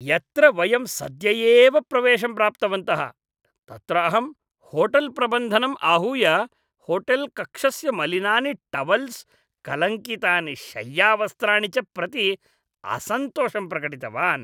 यत्र वयं सद्य एव प्रवेशं प्राप्तवन्तः तत्र अहं होटेल्प्रबन्धनम् आहूय होटेल्कक्षस्य मलिनानि टवल्स्, कलङ्कितानि शय्यावस्त्राणि च प्रति असन्तोषं प्रकटितवान्।